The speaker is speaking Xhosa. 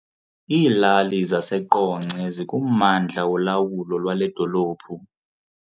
Iilali zaseQonce zikummandla wolawulo lwale dolophu.